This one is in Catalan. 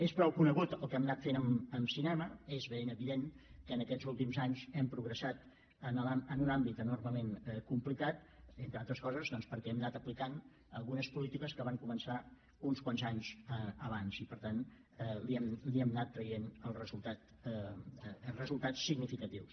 és prou conegut el que hem anat fent amb cinema és ben evident que en aquests últims anys hem progressat en un àmbit enormement complicat entre altres coses perquè hem anat aplicant algunes polítiques que van començar uns quants anys abans i per tant li hem anat traient resultats significatius